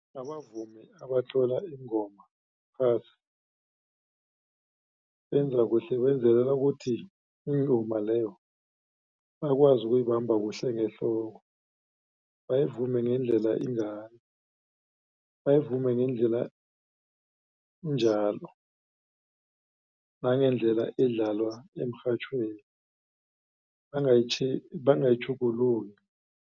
Abavumi abatlola iingoma phasi benza kuhle benzelela ukuthi ingoma leyo bakwazi ukuyibamba kuhle ngehloko. Bayivume ngendlela ingayo bayivume ngendlela injalo nangendlela edlalwa emrhatjhweni bangayitjhugululi.